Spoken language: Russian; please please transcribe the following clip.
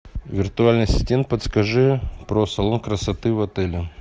виртуальный ассистент подскажи про салон красоты в отеле